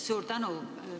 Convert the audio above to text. Suur tänu!